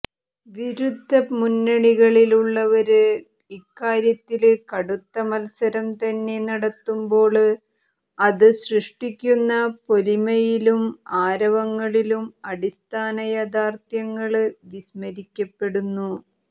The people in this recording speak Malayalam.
വിരുദ്ധ മുന്നണികളിലുള്ളവര് ഇക്കാര്യത്തില് കടുത്ത മത്സരം തന്നെ നടത്തുമ്പോള് അത് സൃഷ്ടിക്കുന്ന പൊലിമയിലും ആരവങ്ങളിലും അടിസ്ഥാന യാഥാര്ഥ്യങ്ങള് വിസ്മരിക്കപ്പെടുന്നു